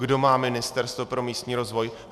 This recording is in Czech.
Kdo má Ministerstvo pro místní rozvoj?